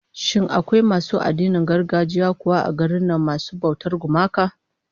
Shin akwai masu addinan gargajiya kuwa a garin nan masu bautar gumaka?